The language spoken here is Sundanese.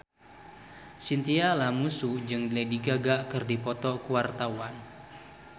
Chintya Lamusu jeung Lady Gaga keur dipoto ku wartawan